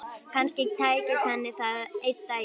Kannski tækist henni það einn daginn.